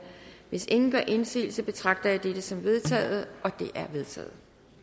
hvis ingen gør indsigelse betragter jeg det som vedtaget vedtaget